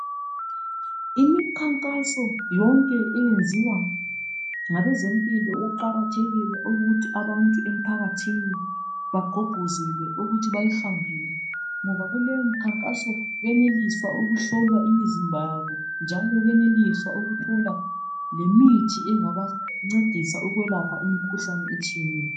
Imikhankaso yonkebeyenziwa ngabezempilo uqakathekile ukuthi abantu emphakathini baqhuqhizele ukuthi beyihambele ngoba kuleyomkhankaso bayenelisa ukuhlolwa imizimba yabo njalo belelisa lokuthola lemithi engabancedisa emzbeni yabo.